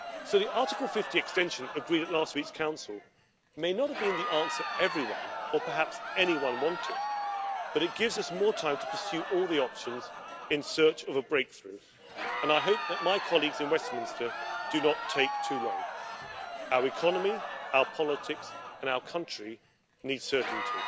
The Article 50 extension agreed at last week's Council may not have been the answer everyone, or perhaps anyone, wanted, but it gives us more time to pursue all the options in search of a breakthrough and I hope that my colleagues in Westminster do not take too long. Our economy, our politics and our country need certainty